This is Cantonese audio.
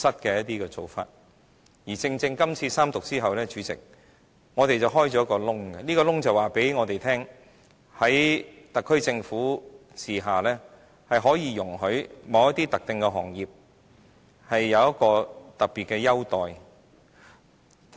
主席，《條例草案》三讀後，正正打開一個缺口，而這個缺口告訴大家，在特區政府治下，是容許某些特定行業享有特別優待。